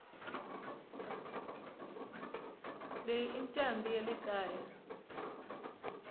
leyi incambi yalekaya